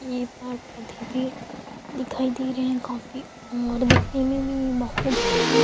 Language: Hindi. ये पार्क पौधे भी दिखाई दे रहे है काफी और दिखने में भी बहुत ही --